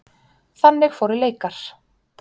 Þannig fóru leikar.